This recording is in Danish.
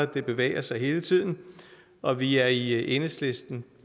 det bevæger sig hele tiden og vi er i enhedslisten